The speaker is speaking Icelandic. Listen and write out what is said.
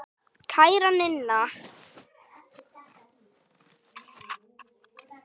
Kæra Ninna.